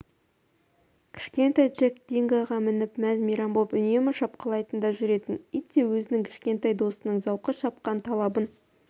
кішкентай джек дингоға мініп мәз-мейрам боп үнемі шапқылайтын да жүретін ит те өзінің кішкентай досының зауқы шапқан талабын